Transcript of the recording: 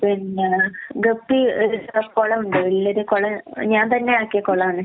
പിന്നെ ഗപ്പി ഒരു കുളം ഉണ്ട് വല്യൊരു കുളം ഞാൻ തന്നെ ആക്കിയ കുളാണ്.